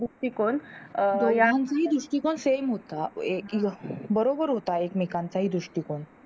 दृष्टीकोन Same होता बरोबर होता एकमेकांचा ही दृष्टीकोन